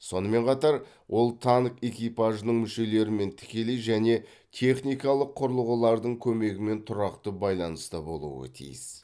сонымен қатар ол танк экипажының мүшелерімен тікелей және техникалық құрылғылардың көмегімен тұрақты байланыста болуы тиіс